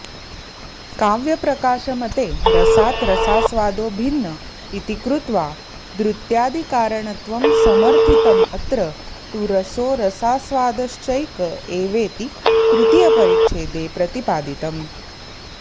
काव्यप्रकाशमते रसाद् रसास्वादो भिन्न इति कृत्वा द्रुत्यादिकारणत्वं समर्थितमत्र तु रसो रसास्वादश्चैक एवेति तृतीयपरिच्छेदे प्रतिपादितम्